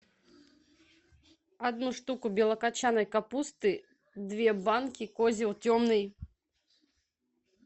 одну штуку белокочанной капусты две банки козел темный